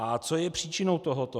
A co je příčinou tohoto?